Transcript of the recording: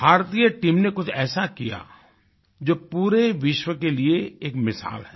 भारतीय टीम ने कुछ ऐसा कियाजो पूरे विश्व के लिए एक मिसाल है